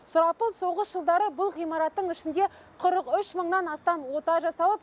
сұрапыл соғыс жылдары бұл ғимараттың ішінде қырық үш мыңнан астам күрделі ота жасалып